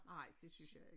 Nej det synes jeg ik